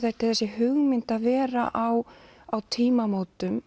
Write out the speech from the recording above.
þessi hugmynd að vera á á tímamótum